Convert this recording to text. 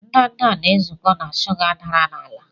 ndanda na-ezukọ na shuga dara n'ala.